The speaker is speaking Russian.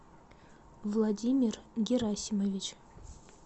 владимир герасимович